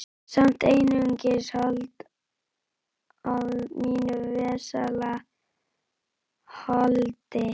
Samt einungis hold af mínu vesala holdi.